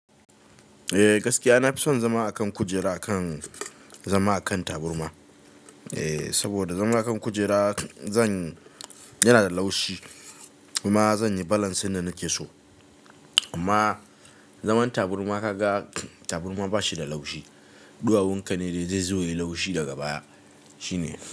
Eh gaskiya, na fi son zama a kan kujera akan zama a kan taburma. Eh, saboda zama a kan kujera zan yana da laushi kuma zan yi balance yadda nake so. Amma zaman taburma ka ga taburma ba shi da laushi. Ɗuwawun ka ne dai zai zo ya yi laushi daga baya shine.